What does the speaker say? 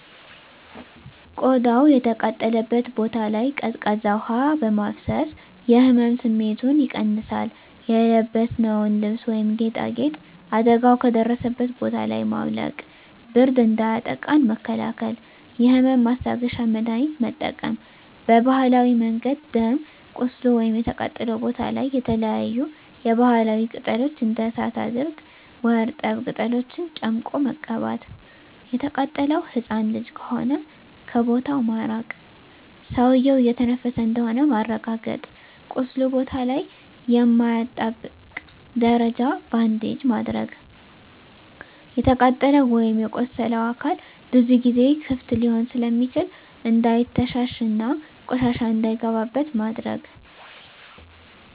ቆዳው የተቃጠለበት ቦታ ላይ ቀዝቃዛ ውሀ በማፍሰስ የህመም ስሜቱን ይቀንሳል :የለበስነውን ልብስ ወይም ጌጣጌጥ አደጋው ከደረሰበት ቦታ ላይ ማውለቅ ብርድ እንዳያጠቃን መከላከል የህመም ማስታገሻ መድሀኒት መጠቀም በባህላዊ መንገድ ደም ቁስሉ ወይም የተቃጠለው ቦታ ላይ የተለያዪ የባህላዊ ቅጠሎች እንደ እሳት አድርቅ ወርጠብ ቅጠሎችን ጨምቆ መቀባት። የተቃጠለው ህፃን ልጅ ከሆነ ከቦታው ማራቅ ሰውዬው እየተነፈሰ እንደሆነ ማረጋገጥ ቁስሉ ቦታ ላይ የማያጣብቅ ደረቅ ባንዴጅ ማድረግ። የተቃጠለው ወይም የቆሰለው አካል ብዙ ጊዜ ክፍት ሊሆን ስለሚችል እንዳይተሻሽ እና ቆሻሻ እንዳይገባበት ማድረግ።